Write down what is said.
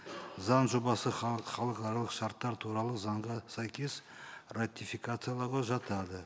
заң жобасы халықаралық шарттар туралы заңға сәйкес ратификациялауға жатады